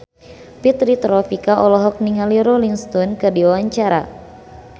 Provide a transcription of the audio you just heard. Fitri Tropika olohok ningali Rolling Stone keur diwawancara